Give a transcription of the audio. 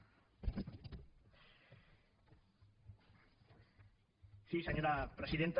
sí senyora presidenta